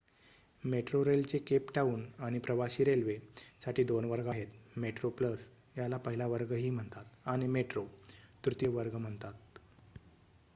मेट्रोरेलचे Cape Town आणि प्रवाशी railway साठी 2 वर्ग आहेत: मेट्रो प्लस याला पहिला वर्ग ही म्हणतात आणि मेट्रो तृतीय वर्ग म्हणतात